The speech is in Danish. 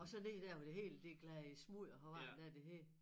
Og så ned dér hvor det hele det gledet i smudder på vejen dér det hed